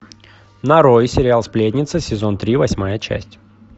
нарой сериал сплетница сезон три восьмая часть